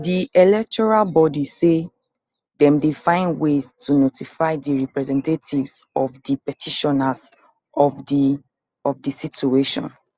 di electoral body say dem dey find ways to notify di representatives of di petitioners of di of di situation